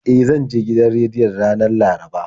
E, zan je gidan rediyon ranar Laraba.